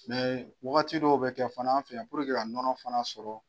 wagati dɔw bɛ kɛ fana an fɛ yan puruke ka nɔnɔ fana sɔrɔ.